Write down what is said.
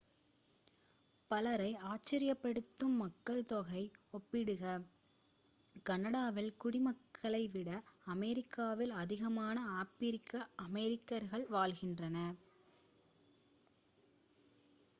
பலரை ஆச்சரியப்படுத்தும் மக்கள்தொகை ஒப்பீடுக்காக கனடாவின் குடிமக்களை விட அமெரிக்காவில் அதிகமான ஆப்பிரிக்க அமெரிக்கர்கள் வாழ்கின்றனர்